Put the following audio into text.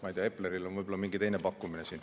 Ma ei tea, Epleril on võib-olla mingi teine pakkumine.